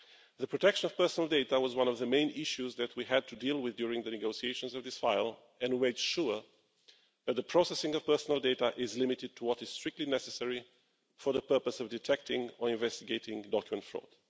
The protection of personal data was one of the main issues that we had to deal with during the negotiations of this file, and we made sure that the processing of personal data is limited to what is strictly necessary for the purpose of detecting or investigating document fraud.